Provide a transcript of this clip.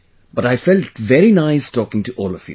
But I felt very nice talking to all of you